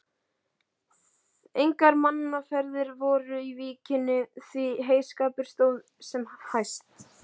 Engar mannaferðir voru í víkinni, því heyskapur stóð sem hæst.